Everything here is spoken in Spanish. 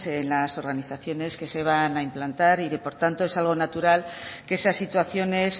en las organizaciones que se van a implantar y que por tanto es algo natural que esas situaciones